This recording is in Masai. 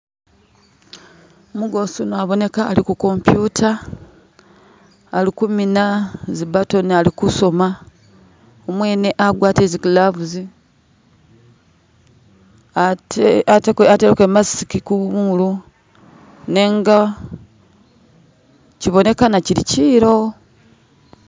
Umugoosi yuno aboneka ali ku computer ali kumina zi button ali ku soma,u mwene agwatile zi gloves ateleko i mask ku molu nenga kyibonekana kyili kyiilo